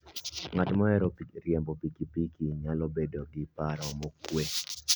Ng'at mohero riembo pikipiki nyalo bedo gi paro mokuwe.